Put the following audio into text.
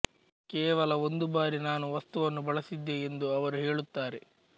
ಕೇವಲ ಒಂದು ಬಾರಿ ನಾನು ವಸ್ತುವನ್ನು ಬಳಸಿದ್ದೆ ಎಂದು ಅವರು ಹೇಳುತ್ತಾರೆ